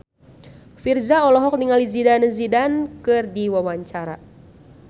Virzha olohok ningali Zidane Zidane keur diwawancara